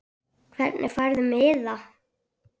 Hvernig færðu miða?